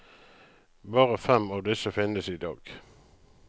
Bare fem av disse finnes i dag.